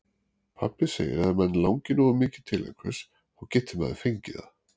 Pabbi segir að ef mann langi nógu mikið til einhvers, þá geti maður fengið það.